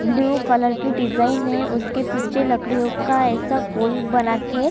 blue colour की design है उसके पीछे लड़कियों का ऐसा गोल बनाके--